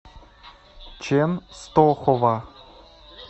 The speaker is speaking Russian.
ченстохова